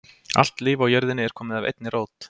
Allt líf á jörðinni er komið af einni rót.